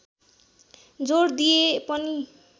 जोड दिए पनि